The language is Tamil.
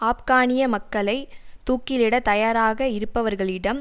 ஆப்கானிய மக்களை தூக்கிலட தயாராக இருப்பவர்களிடம்